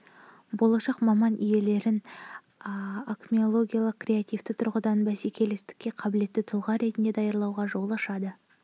болашақ маман иелерін акмеологиялық креативті тұрғыда бәсекелестікке қабілетті тұлға ретінде даярлауға жол ашылды